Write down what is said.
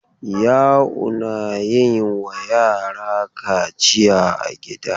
Ya'u na yin wa yara kaciya a gida.